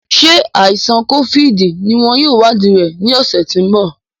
Ṣé àìsàn kófíìdì ní wọn yóò wadii rẹ ní ọ̀sẹ̀ tí ń bọ̀